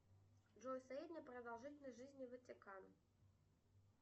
джой средняя продолжительность жизни ватикан